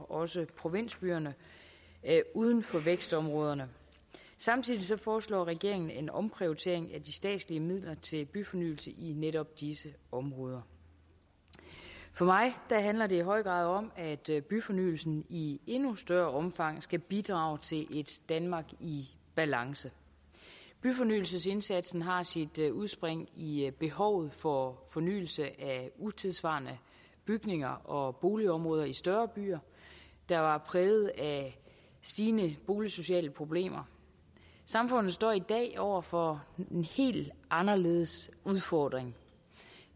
også provinsbyerne uden for vækstområderne samtidig foreslår regeringen en omprioritering af de statslige midler til byfornyelse i netop disse områder for mig handler det i høj grad om at byfornyelsen i endnu større omfang skal bidrage til et danmark i balance byfornyelsesindsatsen har sit udspring i i behovet for fornyelse af utidssvarende bygninger og boligområder i større byer der var præget af stigende boligsociale problemer samfundet står i dag over for en helt anderledes udfordring